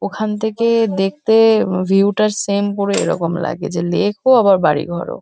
ওখান থেকে-এ দেখতে-এ উ ভিউ -টা সেম পুরো এরকম লাগে। যে লেক -ও আবার বাড়ি ঘরও।